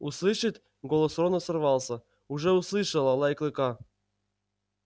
услышит голос рона сорвался уже услышало лай клыка